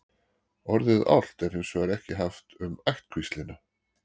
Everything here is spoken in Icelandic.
orðið álft er hins vegar ekki haft um ættkvíslina